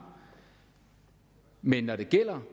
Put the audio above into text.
men når det gælder